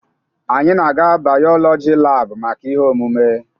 Anyị na-aga bayolọjị laabụ maka ihe omume.